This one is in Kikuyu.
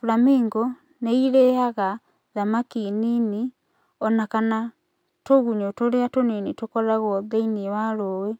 flamingo nĩ irĩaga thamaki nini, ona kana tũgunyũ tũrĩa tũnini tũkoragwo thĩinĩ wa rũĩ.